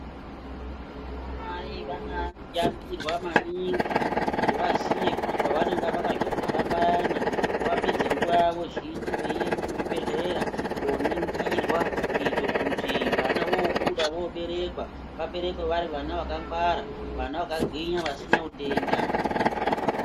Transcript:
Vanamai vana yambirwa maningi kuti vaziye kuti pavananga vakazvitwara payana ngavapedze nguva yavo zhinji veiende kuzvibhedhlera koningirwa. Kuite kuti vana vobuda voberekwa vaberekwe vari vana vakangwara vana vakagwinya vasina utenda.